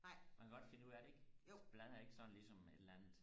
man kan godt finde ud af det ikke blander ikke sådan lige som et eller andet